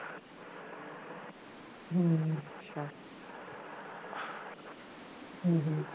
ਹੂੰ ਹੂੰ